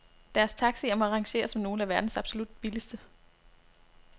Deres taxier må rangere som nogle af verdens absolut billigste.